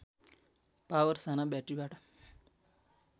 power साना ब्याट्रिबाट